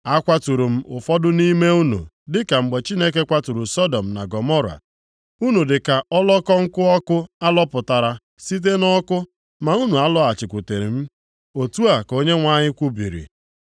“Akwaturu m ụfọdụ nʼime unu dịka mgbe Chineke kwaturu Sọdọm na Gọmọra. Unu dịka ọlọkọ nkụ ọkụ alọpụtara site nʼọkụ, ma unu alọghachikwuteghị m,” otu a ka Onyenwe anyị kwubiri.